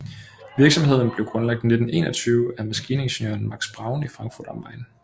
Virksomheden blev grundlagt i 1921 af maskiningeniøren Max Braun i Frankfurt am Main